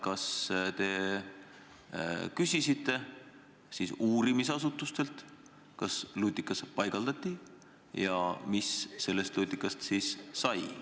Kas te küsisite uurimisasutustelt, kas lutikas paigaldati, ja kui paigaldati, siis mis sellest lutikast sai?